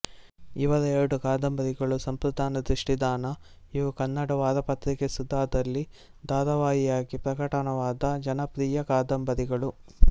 ಇವರ ಎರಡು ಕಾದಂಬರಿಗಳು ಸಂಪ್ರದಾನ ದೃಷ್ಟಿದಾನ ಇವು ಕನ್ನಡ ವಾರಪತ್ರಿಕೆ ಸುಧಾದಲ್ಲಿ ಧಾರಾವಾಹಿಯಾಗಿ ಪ್ರಕಟವಾದ ಜನಪ್ರಿಯ ಕಾದಂಬರಿಗಳು